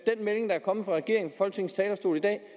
melding der er kommet fra regeringen folketingets talerstol i dag